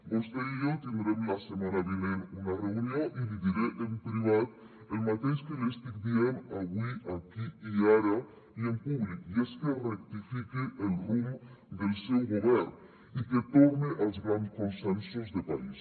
vostè i jo tindrem la setmana vinent una reunió i li diré en privat el mateix que li estic dient avui aquí i ara i en públic i és que rectifique el rumb del seu govern i que torne als grans consensos de país